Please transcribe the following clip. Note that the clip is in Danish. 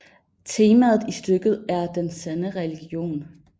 Temaet i stykket er den sande religion